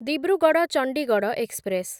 Dibrugarh Chandigarh express